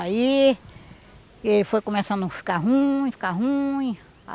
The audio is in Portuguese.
Aí... Ele foi começando a ficar ruim, ficar ruim.